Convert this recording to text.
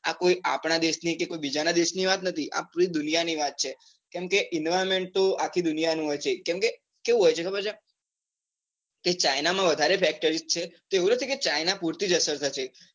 આ કોઈ આપણા દેશ ની કે કોઈ બીજા ના દેશ ની વાત નથી. આ પુરી દુનિયા ની વાત છે. કમ કે environment તો આખી દુનિયાનું હોય છે. કેમ કે કેવું હોય છે ખબર છે. કે ચાઇના માં વધારે ફેક્ટરી છે તો એવું નથી કે ચાઇના પોતે જ અસર થશે.